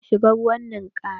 Za mu shiga ruwan ninkaya.